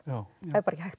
það er bara ekki hægt